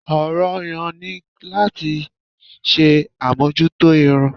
Ọ̀ràn-an-yàn ni láti ṣe àmójútó irun